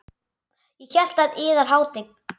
Ég hélt að yðar hátign.